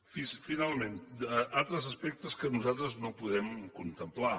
finalment altres aspectes que nosaltres no podem contemplar